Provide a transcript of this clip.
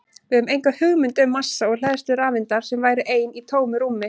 Við höfum enga hugmynd um massa og hleðslu rafeindar sem væri ein í tómu rúmi!